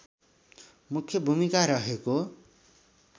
मुख्य भूमिका रहेको